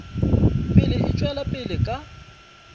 pele e tšwela pele ka